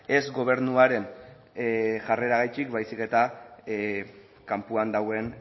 ez gobernuaren jarreragatik baizik eta kanpoan dagoen